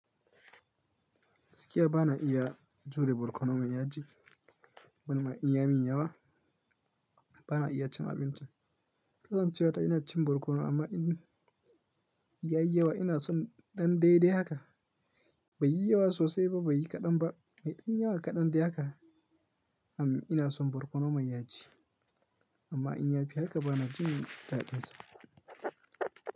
Gaskiya ba na iya jure barkono mai yaji, ban ma in ya min yawa ba na iya cin abincin. Kasancewa ta ina cin barkono amma in ya yi yawa ina son ɗan daidai haka, bai yi yawa sosai ba bai yi kaɗan ba, mai ɗan yawa kaɗan dai haka. Am ina son barkono mai yaji amma in ya fi haka ba na jin daɗinsa.